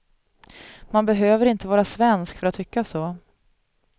Man behöver inte vara svensk för att tycka så.